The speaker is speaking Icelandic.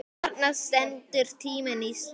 Þarna stendur tíminn í stað.